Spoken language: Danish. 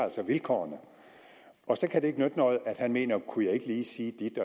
vilkårene og så kan det ikke nytte noget at han mener kunne jeg ikke lige sige dit